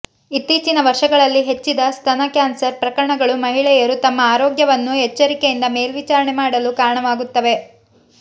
ಇತ್ತೀಚಿನ ವರ್ಷಗಳಲ್ಲಿ ಹೆಚ್ಚಿದ ಸ್ತನ ಕ್ಯಾನ್ಸರ್ ಪ್ರಕರಣಗಳು ಮಹಿಳೆಯರು ತಮ್ಮ ಆರೋಗ್ಯವನ್ನು ಎಚ್ಚರಿಕೆಯಿಂದ ಮೇಲ್ವಿಚಾರಣೆ ಮಾಡಲು ಕಾರಣವಾಗುತ್ತವೆ